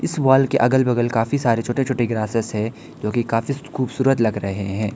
इस वॉल के अगल बगल काफी सारे छोटे छोटे ग्रासेस है जो की काफी खूबसूरत लग रहे हैं।